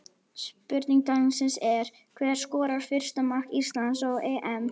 Spurning dagsins er: Hver skorar fyrsta mark Íslands á EM?